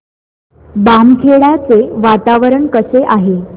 बामखेडा चे वातावरण कसे आहे